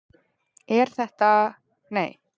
Elín Magnúsdóttir: Þetta er, þetta er, er þetta ekki lopi?